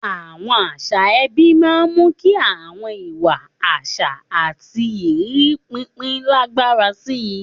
Àwọn àṣà ẹbí máa ń mú kí àwọn ìwà, àṣà, àti ìrírí pínpín lágbára sí i.